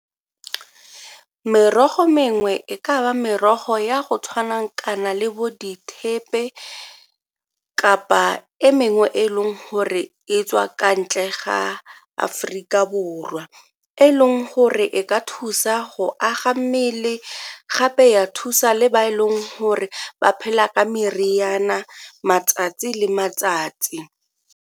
Merogo mengwe e ka ba merogo ya go tshwana kana le bo dithepelo kapa e mengwe e e leng gore e tswa kwa ntle ga Aforika Borwa e e leng gore e ka thusa go aga mmele gape ya thusa le ba e leng gore ba phela ka meriana matsatsi le matsatsi.